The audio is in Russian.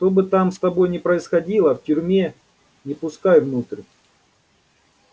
что бы там с тобой ни происходило в тюрьме не пускай внутрь